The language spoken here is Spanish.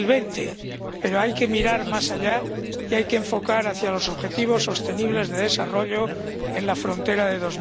2020. Pero hay que mirar más allá y hay que enfocar hacia los objetivos sostenibles de desarrollo en la frontera de